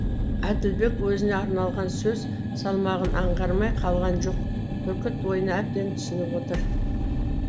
әділбек өзіне арналған сөз салмағын аңғармай қалған жоқ бүркіт ойына әбден түсініп отыр